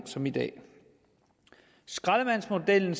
som i dag skraldemandsmodellen